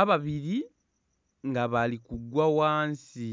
ababiri nga bali kugwa ghansi.